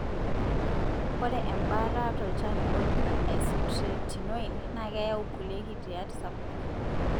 ore embaata tolchani oji isotretinoin na keyau kulie kitindiat sapikin.